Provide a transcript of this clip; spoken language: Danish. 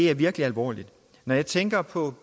er virkelig alvorligt og jeg tænker på